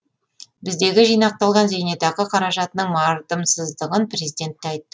біздегі жинақталған зейнетақы қаражатының мардымсыздығын президент те айтты